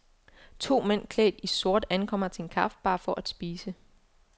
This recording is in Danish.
To mænd klædt i sort ankommer til en kaffebar for at spise.